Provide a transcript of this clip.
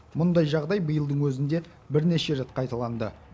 мұндай жағдай биылдың өзінде бірнеше рет қайталанды